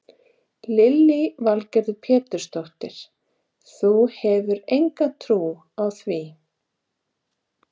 Lillý Valgerður Pétursdóttir: Þú hefur enga trú á því?